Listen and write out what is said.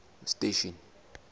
station